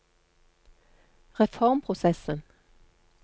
reformprosessen